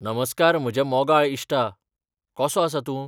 नमस्कार म्हज्या मोगाळ इश्टा, कसो आसा तूं?